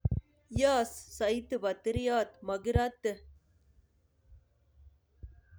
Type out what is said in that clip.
Yoos soiti botirioot makiiraate